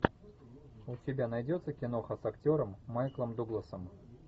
у тебя найдется киноха с актером майклом дугласом